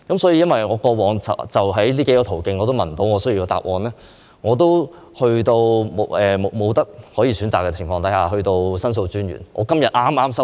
由於我過往在這些途徑都得不到我需要的答案，在沒有選擇的情況下，我向申訴專員作出申訴。